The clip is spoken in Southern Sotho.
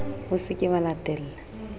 o se ke wa latella